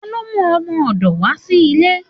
Talo mú ọmọdò wa sí ilé?